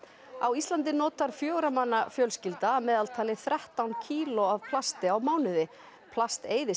á Íslandi notar fjögurra manna fjölskylda að meðaltali þrettán kíló af plasti á mánuði plast eyðist